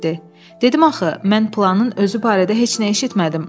Dedim axı, mən planın özü barədə heç nə eşitmədim.